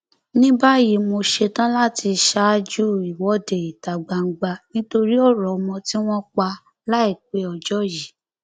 ní báyìí mo ṣetán láti ṣáájú ìwọde ìta gbangba nítorí ọrọ ọmọ tí wọn pa láìpẹ ọjọ yìí